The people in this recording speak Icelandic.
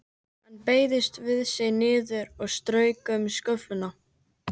Hann beygði sig niður og strauk um sköflunginn.